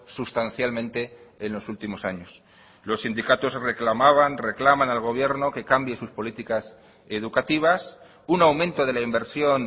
sustancialmente en los últimos años los sindicatos reclamaban reclaman al gobierno que cambie sus políticas educativas un aumento de la inversión